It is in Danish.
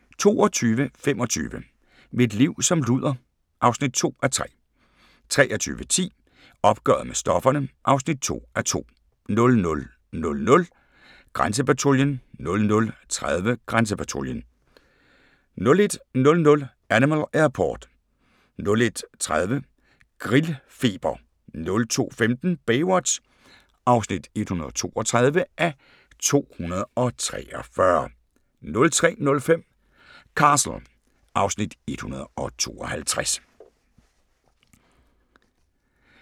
22:25: Mit liv som luder (2:3) 23:10: Opgøret med stofferne (2:2) 00:00: Grænsepatruljen 00:30: Grænsepatruljen 01:00: Animal Airport 01:30: Grillfeber 02:15: Baywatch (132:243) 03:05: Castle (Afs. 152)